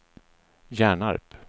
Hjärnarp